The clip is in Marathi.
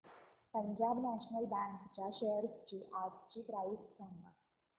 पंजाब नॅशनल बँक च्या शेअर्स आजची प्राइस सांगा